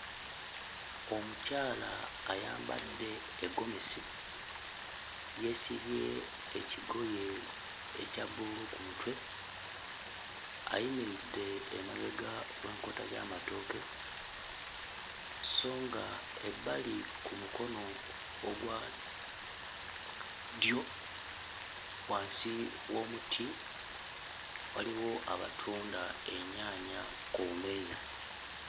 Omukyala ayambadde eggomesi yeesibye ekigoye ekya bbululu ku mutwe ayimiridde emabega w'enkota z'amatooke sso nga ebbali ku mukono ogwa ddyo wansi w'omuti waliwo abatunda ennyaanya ku bumeeza.